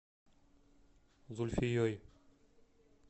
зульфией